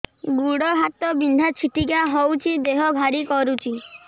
ଗୁଡ଼ ହାତ ବିନ୍ଧା ଛିଟିକା ହଉଚି ଦେହ ଭାରି କରୁଚି